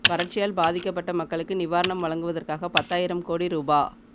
வறட்சியால் பாதிக்கப்பட்ட மக்களுக்கு நிவாரணம் வழங்குவதற்காக பத்தாயிரம் கோடி ரூபா